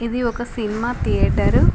ఇది ఒక cinema theatre .